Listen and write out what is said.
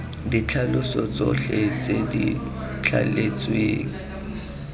ditlhaloso tsotlhe tse di thaletsweng